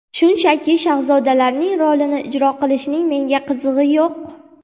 Shunchaki shahzodalarning rolini ijro qilishning menga qizig‘i yo‘q.